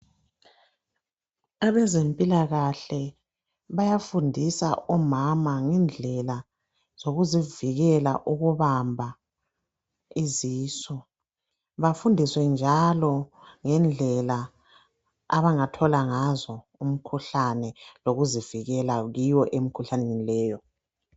abezempilakahle bayafundisa omama ngezindlela zokuzivikela ukubamba izisu bafundiswe njalo bafundiswe njalo ngendlela abangathola ngazo umkhuhlane lokuzivikela kiwo emkhuhlaneni leyo